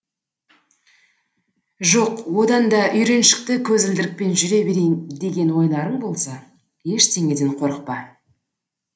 жоқ одан да үйреншікті көзілдірікпен жүре берейін деген ойларың болса ештеңеден қорықпа